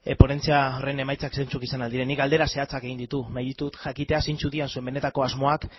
ponentzia horren emaitzak zeintzuk izan ahal direnik galdera zehatzak egin ditut jakiteko zeintzuk diren zuen benetako asmoak